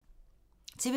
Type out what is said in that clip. TV 2